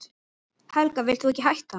Helga: Vilt þú ekki hætta?